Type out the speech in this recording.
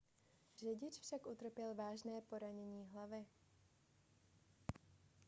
řidič však utrpěl vážné poranění hlavy